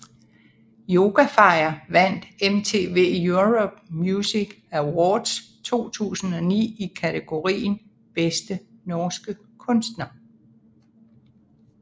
Yoga Fire vandt MTV Europe Music Awards 2009 i kategorien Bedste norske kunstner